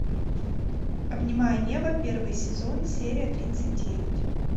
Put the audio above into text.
обнимая небо первый сезон серия тридцать девять